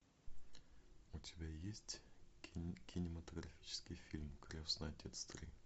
у тебя есть кинематографический фильм крестный отец три